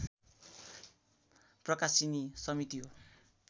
प्रकाशिनी समिति हो